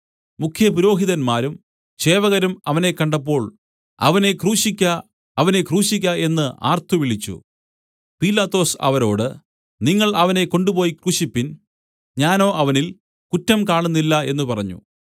മുഖ്യപുരോഹിതന്മാരും ചേവകരും അവനെ കണ്ടപ്പോൾ അവനെ ക്രൂശിയ്ക്ക അവനെ ക്രൂശിയ്ക്ക എന്നു ആർത്തുവിളിച്ചു പീലാത്തോസ് അവരോട് നിങ്ങൾ അവനെ കൊണ്ടുപോയി ക്രൂശിപ്പിൻ ഞാനോ അവനിൽ കുറ്റം കാണുന്നില്ല എന്നു പറഞ്ഞു